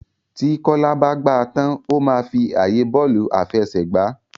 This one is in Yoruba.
Tí Kola bá gbà tán o ma fí ààyè Bọ́ọ̀lù àfẹsẹ̀gbá.